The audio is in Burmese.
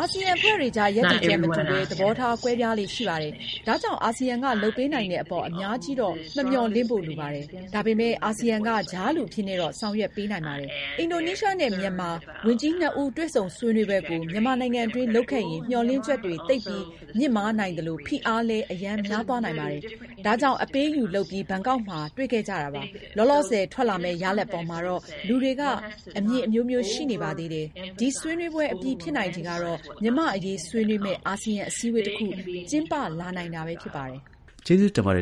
အာဆီယံအဖွဲ့တွေအကြား ရပ်တည်ချက်မတူဘဲ သဘောထားကွဲပြားလေ့ ရှိပါတယ်။ ဒါကြောင့် အာဆီယံက လုပ်ပေးနိုင်တဲ့အပေါ် အများကြီး မမျှော်လင့်ဖို့ လိုပါတယ်။ ဒါပေမယ့် အာဆီယံက ကြားလူအဖြစ်တော့ ဆောင်ရွက်ပေးနိုင်ပါတယ်။ အင်ဒိုနီးရှားနဲ့ မြန်မာ ဝန်ကြီးနှစ်ဦး တွေ့ဆုံဆွေး နွေးပွဲကို မြန်မာနိုင်ငံအတွင်း လုပ်ခဲ့ရင် မျှော်လင့်ချက်တွေ သိပ်ပြီး မြင့်မားနိုင်သလို ဖိအားလည်း အရမ်း များသွားနိုင်ပါတယ်။ ဒါကြောင့် အပေးအယူလုပ်ပြီး ဘန်ကောက်မှာ တွေ့ခဲ့ကြတာပါ။ လောလောဆယ် ထွက်လာမယ့် ရလဒ်အပေါ်မှတော့ လူတွေက အမြင်က အမျိုးမျိုး ရှိနေပါသေးတယ်။ ဒီဆွေးနွေးပွဲ အပြီး ဖြစ်နိုင်ခြေကတော့ မြန်မာ့အရေး ဆွေးနွေးမယ့် အာဆီယံ အစည်းအဝေးတစ်ခု ကျင်းပလာနိုင်တာပဲ ဖြစ်ပါတယ်။ ကျေးဇူးတင်ပါတယ်